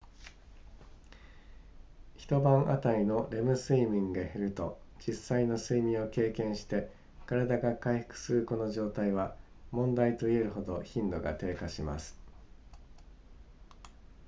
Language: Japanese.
一晩あたりのレム睡眠が減ると実際の睡眠を経験して体が回復するこの状態は問題と言えるほど頻度が低下します